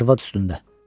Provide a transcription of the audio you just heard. Arvad üstündə.